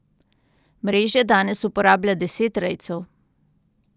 Mreže danes uporablja deset rejcev.